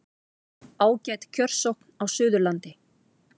Ágæt kjörsókn á Suðurlandi